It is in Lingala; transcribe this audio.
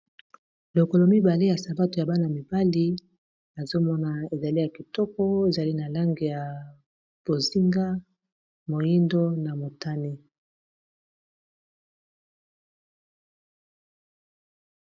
Lokolo mibale ya sabato ya bana mibali azomona ezali ya kitoko ezali na lange ya bozinga, moindo na motane.